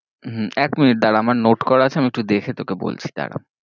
হম এক minute দ্বারা, আমার note করা আছে, আমি একটু দেখে তোকে বলছি দ্বারা।